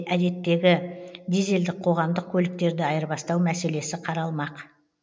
әдеттегі дизельдік қоғамдық көліктерді айырбастау мәселесі қаралмақ